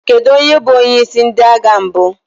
Kedu onye bụ onyeisi ndị agha mbụ?